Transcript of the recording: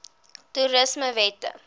toerismewette